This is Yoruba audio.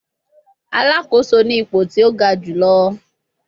Alakoso ni ipo ti o ga julọ